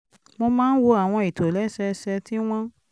mo máa ń wo àwọn ìtòlẹ́sẹẹsẹ tí wọ́n